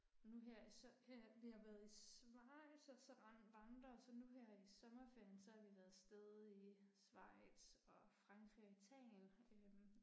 Nu her i her vi har været i Schweiz også og vandre så nu her i sommerferien så har vi været afsted i Schweiz og Frankrig og Italien øh